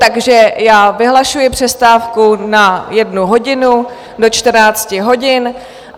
Takže já vyhlašuji přestávku na jednu hodinu do 14 hodin.